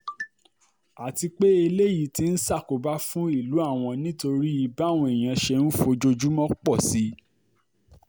àti pé eléyìí ti um ń ṣàkóbá fún ìlú àwọn nítorí báwọn èèyàn ṣe ń fojoojúmọ́ um pọ̀ sí i